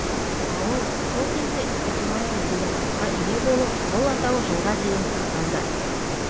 ауыл сол кезде степное деген атқа ие болып бұл атау жылға дейін сақталды